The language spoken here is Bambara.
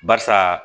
Barisa